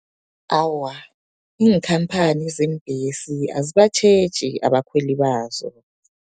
Awa, iinkhamphani zeembesi, azibatjheji abakhweli bazo.